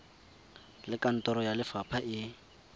le kantoro ya lefapha e